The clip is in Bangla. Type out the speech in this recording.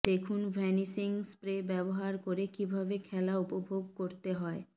দেখুন ভ্যানিশিং স্প্রে ব্যবহার করে কীভাবে খেলা উপভোগ করতে হয়